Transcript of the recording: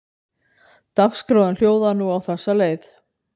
Dagskráin hljóðaði nú á þessa leið